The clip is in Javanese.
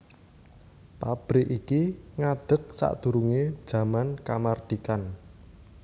Pabrik iki ngadeg sadurungé jaman kamardikan